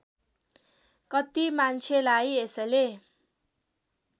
कत्ति मान्छेलाई यसले